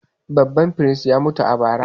A’a, babban firist ya mutu a bara.